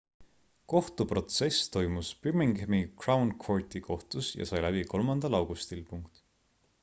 kohtuprotsess toimus birminghami crown courti kohtus ja sai läbi 3 augustil